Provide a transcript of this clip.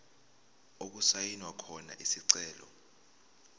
okusayinwe khona isicelo